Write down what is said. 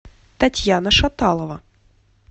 татьяна шаталова